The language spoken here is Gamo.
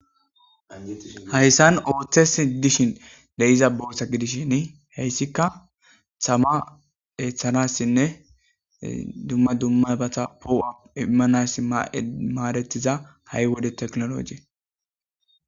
Hayssan ooththesi dishin de'iza bolsa gidishshin heyssika sama ethanassinne dumma dumma bata poo'a immanassi ma'e maaretiza ha'i wode teknologe.